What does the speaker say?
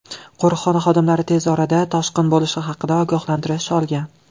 Qo‘riqxona xodimlari tez orada toshqin bo‘lishi haqida ogohlantirish olgan.